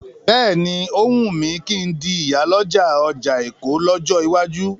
Bẹ́ẹ̀ni,ó wùn mí kí n di ìyàlọ́jà ọjà Èkó lọ́jọ́ iwájú.